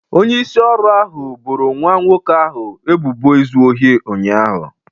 Onyeisi oru ahụ boro nwa nwoke ahụ ebubo izu ohi ụnyaahụ